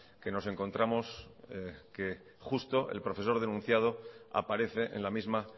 que nos encontramos que justo el profesor denunciado aparece en la misma